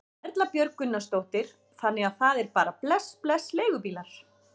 Erla Björg Gunnarsdóttir: Þannig að það er bara bless bless leigubílar?